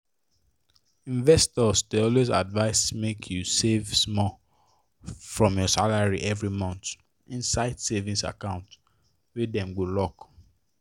investors dey always advise make you save small from your salary every month inside savings account wey dem go lock